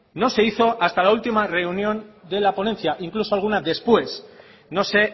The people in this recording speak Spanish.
no se hizo hasta la última reunión de la ponencia incluso alguna después no sé